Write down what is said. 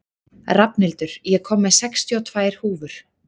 Rafnhildur, ég kom með sextíu og tvær húfur!